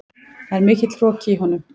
Það er mikill hroki í honum.